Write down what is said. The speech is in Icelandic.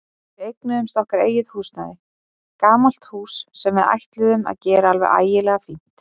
Við eignuðumst okkar eigið húsnæði, gamalt hús sem við ætluðum að gera alveg ægilega fínt.